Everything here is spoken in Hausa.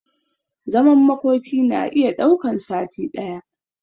Zaman makoki na iya daukan sati daya